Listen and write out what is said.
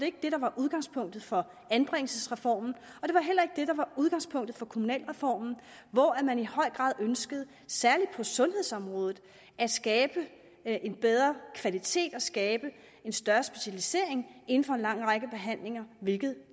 ikke det der var udgangspunktet for anbringelsesreformen og udgangspunktet for kommunalreformen hvor man i høj grad ønskede særlig på sundhedsområdet at skabe en bedre kvalitet og skabe en større specialisering inden for en lang række behandlinger hvilket